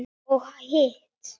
Og hitt?